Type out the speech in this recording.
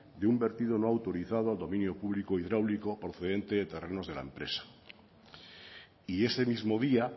de un vertido no autorizado al dominio público hidráulico procedente de terrenos de la empresa y ese mismo día